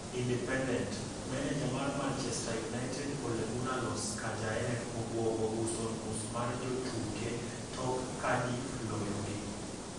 (Independent) Meneja mar Manchester United Ole Gunnar Solskjaer obwogo uso nus mar jotuke tok Cardiff loyogi.